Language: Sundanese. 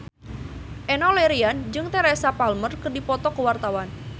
Enno Lerian jeung Teresa Palmer keur dipoto ku wartawan